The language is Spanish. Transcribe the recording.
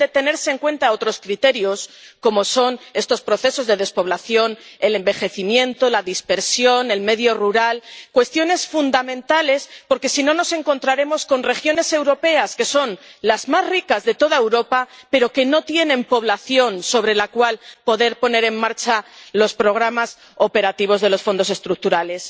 Deben tenerse en cuenta otros criterios, como son estos procesos de despoblación, el envejecimiento, la dispersión, el medio rural, cuestiones fundamentales, porque si no, nos encontraremos con regiones europeas que son las más ricas de toda Europa, pero que no tienen población sobre la cual poder poner en marcha los programas operativos de los Fondos Estructurales.